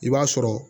I b'a sɔrɔ